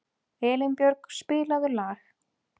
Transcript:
Elínbjörg, spilaðu lag.